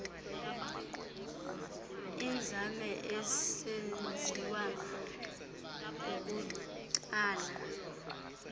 inzame isenziwa kukutsala